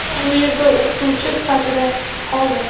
shu yerda o‘qituvchi sifatida qoldi.